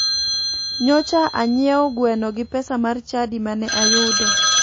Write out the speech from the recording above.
Nyocha anyiewo gweno gi pesa mar chadi mane ayudo.